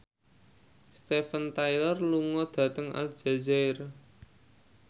Steven Tyler lunga dhateng Aljazair